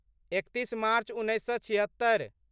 एकतीस मार्च उन्नैस सए छिहत्तरि